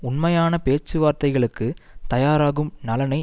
உண்மையான பேச்சுவார்த்தைகளுக்கு தயாராகும் நலனை